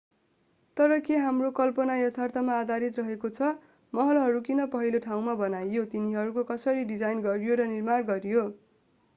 तर के हाम्रो कल्पना यथार्थमा आधारित रहेको छ महलहरू किन पहिलो ठाउँमा बनाइयो तिनीहरूको कसरी डिजाईन गरियो र निर्माण गरियो